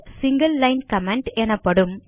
single line comment எனப்படும்